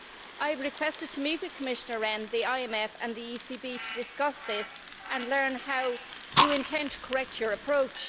I have requested to meet with Commissioner Rehn, the IMF and the ECB to discuss this and learn how you intend to correct your approach.